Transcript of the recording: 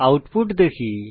output দেখি